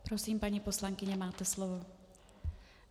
Prosím, paní poslankyně, máte slovo.